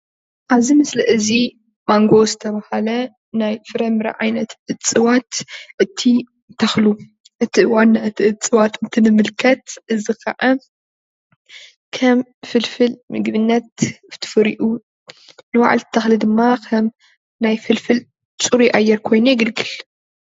ኣብዚ ምስሊ እዚ ማንጎ ዝተበሃለ ናይ ፍራምረ ዓይነት እፅዋት እቲ ተኽሊ እቲ ዋንኡ እፅዋት እትንምልከት እዚ ከዓ ከም ፍልፍል ምግብነት ፉሩእ ንባዓሉ ተኽሊ ድማ ከም ናይ ፍልፍል ፁሩይ ኣየር ኮይኑ የግልግል።